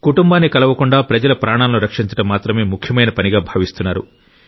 కుటుంబాన్ని కలవకుండా ప్రజల ప్రాణాలను రక్షించడం మాత్రమే ముఖ్యమైన పనిగా భావిస్తున్నారు